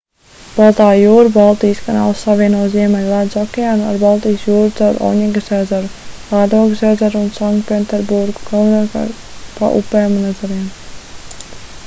baltā jūra baltijas kanāls savieno ziemeļu ledus okeānu ar baltijas jūru caur oņegas ezeru lādogas ezeru un sanktpēterburgu galvenokārt pa upēm un ezeriem